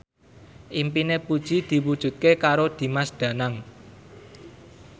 impine Puji diwujudke karo Dimas Danang